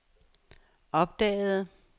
opdagede